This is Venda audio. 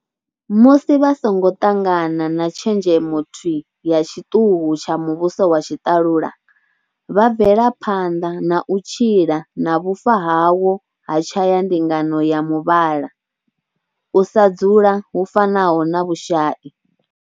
Musi vha songo ṱangana na tshenzhemo thwii ya tshiṱuhu tsha muvhuso wa tshiṱalula, vha bvela phanḓa na u tshila na vhufa hawo ha tshayandingano ya muvhala, u sa dzula hu fanaho na vhushai.